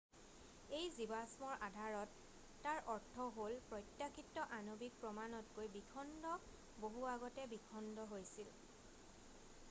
"""এই জীৱাষ্মৰ আধাৰত তাৰ অৰ্থ হ'ল প্ৰত্যাশিত আণৱিক প্ৰমাণতকৈ বিখণ্ড বহু আগতে বিখণ্ড হৈছিল।""